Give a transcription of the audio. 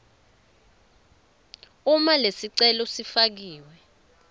uma lesicelo lesifakiwe